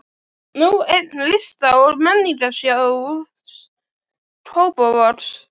Nú eign Lista- og menningarsjóðs Kópavogs.